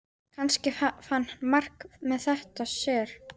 Kannski fann Mark þetta á sér.